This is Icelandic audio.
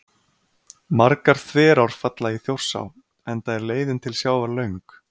Margar þverár falla í Þjórsá enda er leiðin til sjávar löng.